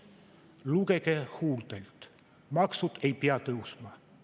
Lugege huultelt: maksud ei pea tõusma.